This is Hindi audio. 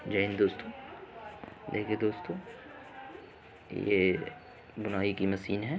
जय हिन्द दोस्तों। देखिये दोस्तों ये बुनाई की मशीन है।